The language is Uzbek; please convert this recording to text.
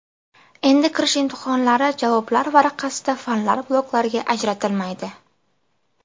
Endi kirish imtihonlari javoblar varaqasida fanlar bloklarga ajratilmaydi.